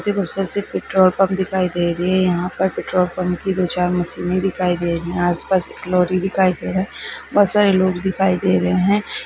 बहुत ही खूबसूरत सी पेट्रोल पंप दिखाई दे रही है| यहां पर पेट्रोल पंप की दो-चार मशीने दिखाई दे रही है आसपास एक लोरी दिखाई दे रहा है बहुत सारे लोग दिखाई दे रहे हैं।